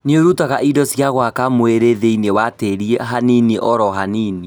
Nĩirutaga indo cia gwaka mwĩrĩ thĩinĩ wa tĩri hanini oro hanini